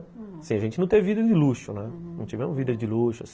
A gente não teve vida de luxo, não tivemos vida de luxo.